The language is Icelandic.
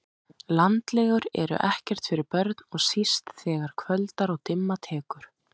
Landlegur eru ekkert fyrir börn og síst þegar kvöldar og dimma tekur